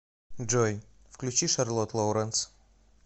джой включи шарлотт лоуренс